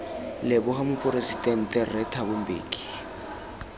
leboga moporesidente rre thabo mbeki